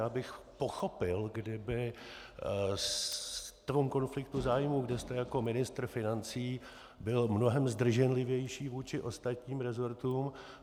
Já bych pochopil, kdybyste v tom konfliktu zájmů, kde jste jako ministr financí, byl mnohem zdrženlivější vůči ostatním resortům.